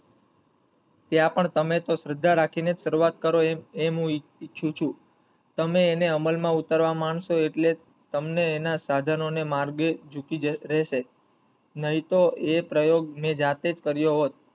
ત્યાં પણ તમે તો શ્રદ્ધા રાખી ને જ શરૂવાત કરો એમ~એમ હું ઇછું~ઈચ્છું પણ તમે એને અમલ માં ઉતરવા માનસો એટલે તમને એના સાધનો ને માર્ગે જુકી જ રહેશે નહિ તો એ પ્રયોગ મેં જાતે જ કરીયો હોત.